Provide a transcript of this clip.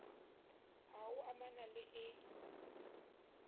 h o amana le e